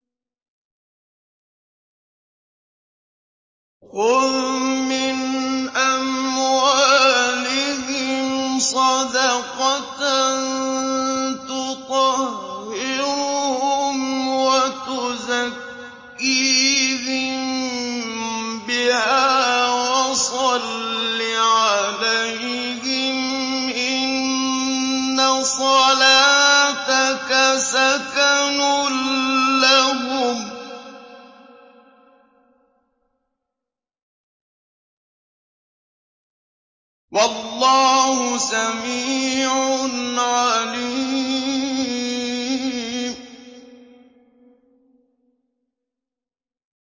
خُذْ مِنْ أَمْوَالِهِمْ صَدَقَةً تُطَهِّرُهُمْ وَتُزَكِّيهِم بِهَا وَصَلِّ عَلَيْهِمْ ۖ إِنَّ صَلَاتَكَ سَكَنٌ لَّهُمْ ۗ وَاللَّهُ سَمِيعٌ عَلِيمٌ